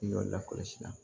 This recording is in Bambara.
I y'ɔ lakɔlɔsi